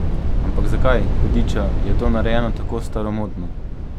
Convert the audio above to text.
Ampak zakaj, hudiča, je to narejeno tako staromodno?